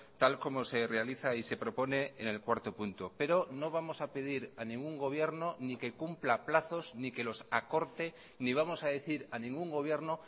tal como se realiza y se propone en el cuarto punto pero no vamos a pedir a ningún gobierno ni que cumpla plazos ni que los acorte ni vamos a decir a ningún gobierno